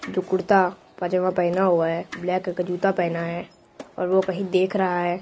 जो कुर्ता पैजमा पहना हुआ है ब्लैक कलर का जुत्ता पहना है और वो कहीं देख रहा है।